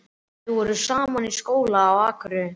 Þau voru saman í skóla á Akureyri.